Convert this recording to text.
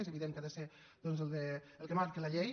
és evident que ha de ser el que marca la llei